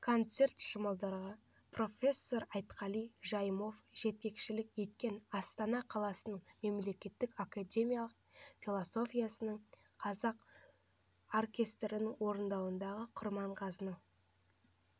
концерт шымылдығы профессор айтқали жайымов жетекшілік еткен астана қаласының мемлекеттік академиялық философиясының қазақ оркестрінің орындауындағы құрманғазының